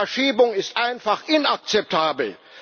Eine Verschiebung ist einfach inakzeptabel!